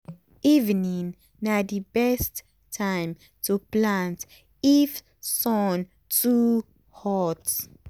evening na d best time to plant if sun too hot.